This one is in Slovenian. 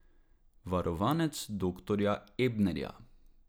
Varovanec doktorja Ebnerja!